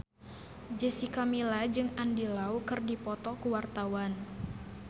Jessica Milla jeung Andy Lau keur dipoto ku wartawan